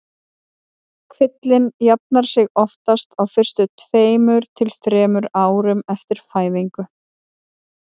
Kvillinn jafnar sig oftast á fyrstu tveimur til þremur árum eftir fæðingu.